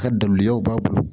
A ka dabilenyaw b'a bolo